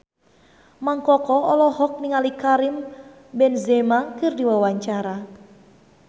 Mang Koko olohok ningali Karim Benzema keur diwawancara